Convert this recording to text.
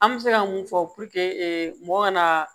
An bɛ se ka mun fɔ mɔgɔ ka na